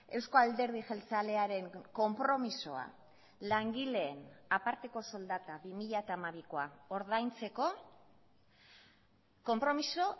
euzko alderdi jeltzalearen konpromisoa langileen aparteko soldata bi mila hamabikoa ordaintzeko konpromiso